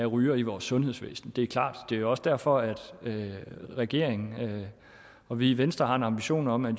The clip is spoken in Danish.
rygere i vores sundhedsvæsen det er klart det er jo også derfor at regeringen og vi i venstre har en ambition om at